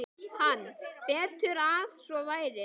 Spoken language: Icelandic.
Hann: Betur að svo væri.